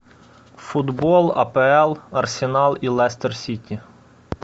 футбол апл арсенал и лестер сити